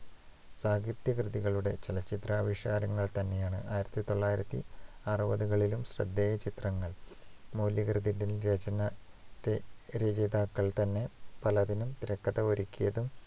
സാഹിത്യകൃതികളുടെ ചലച്ചിത്രാവിഷ്കാരങ്ങൾ തന്നെയാണ് ആയിരത്തി തൊള്ളായിരത്തി അറുപതുകളിലും ശ്രദ്ധേയ ചിത്രങ്ങൾ. മൂലകൃതിയുടെ രാചന രചയിതാക്കൾ തിരകഥ ഒരുകിയതും